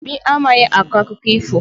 Obi amaghị akọ akụkọ ifo